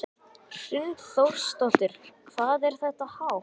Hrund Þórsdóttir: Hvað er þetta hátt?